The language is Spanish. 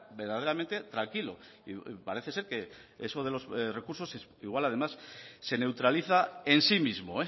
verdaderamente tranquilo y parece ser que eso de los recursos igual además se neutraliza en sí mismo